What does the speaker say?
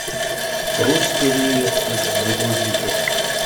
русская невестка загрузи ка